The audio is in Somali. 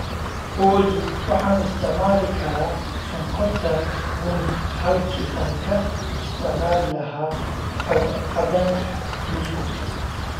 olly Waxaan isticmaali karaa sonkorta bunni halkii aan ka isticmaali lahaa cadaanka buskudka